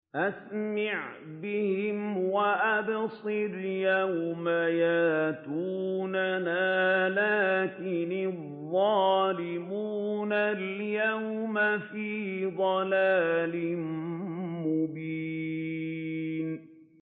أَسْمِعْ بِهِمْ وَأَبْصِرْ يَوْمَ يَأْتُونَنَا ۖ لَٰكِنِ الظَّالِمُونَ الْيَوْمَ فِي ضَلَالٍ مُّبِينٍ